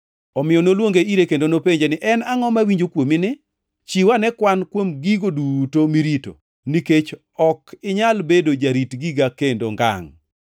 Omiyo noluonge ire kendo nopenje ni, ‘En angʼo mawinjo kuomini? Chiw ane kwan kuom gigo duto mirito, nikech ok inyal bedo jarit giga kendo ngangʼ!’